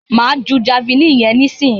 Máa ju javeline yẹn nísìyí.